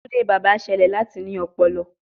Tunde baba ṣẹlẹ lati ní ọpọlọ